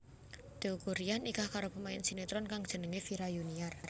Teuku Ryan nikah karo pemain sinetron kang jenengé Vira Yuniar